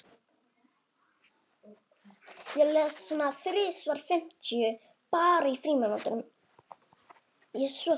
Henrik hafði rétt fyrir sér.